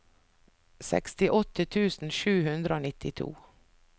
sekstiåtte tusen sju hundre og nittito